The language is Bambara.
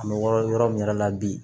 An bɛ wɔɔrɔ yɔrɔ min yɛrɛ la bi